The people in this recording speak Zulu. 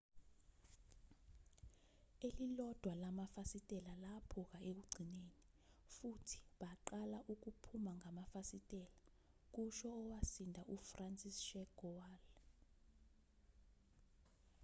elilodwa lamafasitela laphuka ekugcineni futhi baqala ukuphuma ngamafasitela kusho owasinda ufranciszek kowal